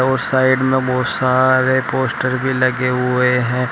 और साइड में बहुत सारे पोस्टर भी लगे हुए हैं।